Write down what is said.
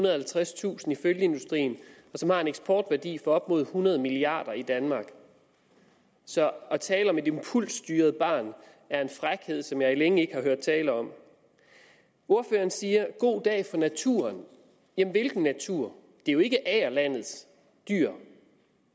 og halvtredstusind i følgeindustrien og som har en eksportværdi på op mod hundrede milliard kroner i danmark så at tale om et impulsstyret barn er en frækhed som jeg længe ikke har hørt tale om ordføreren siger at god dag for naturen jamen hvilken natur det er jo ikke agerlandets dyr